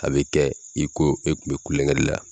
A bɛ kɛ i ko e tun bɛ kulonkɛ de la !